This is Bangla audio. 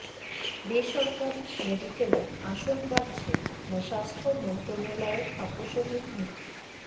বেসরকারি মেডিকেলে আসন বাড়ছে না স্বাস্থ্য মন্ত্রণালয়ের আপসহীন নীতি